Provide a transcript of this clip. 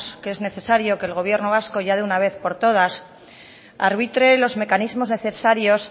que es necesario que el gobierno vasco ya de una vez por todas arbitre los mecanismos necesarios